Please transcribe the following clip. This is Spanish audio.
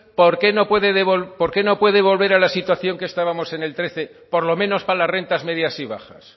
por qué no puede volver a la situación que estábamos en el trece por lo menos para las rentas medias y bajas